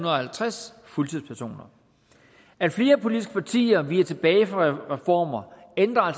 halvtreds fuldtidspersoner at flere politiske partier viger tilbage for reformer ændrer